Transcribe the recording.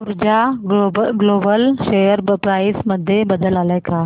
ऊर्जा Global share price मध्ये बदल आलाय का